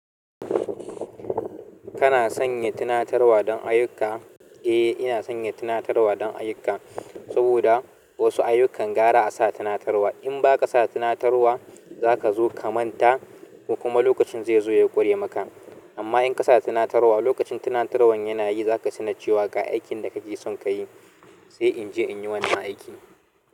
Kana sanya tunatarwa don ayyuka? Eh, ina sanya tunatarwa don ayyuka saboda wasu ayyukan gara a sa tunatarwa. In ba ka sa tunatarwa za ka zo ka manta ko kuma lokacin zai zo ya ƙurye maka. Amma in ka sa tunatarwa lokacin tunatarwan yana yi, za ka san da cewa ga aikin da kake son ka yi, sai in je in yi wannan aikin.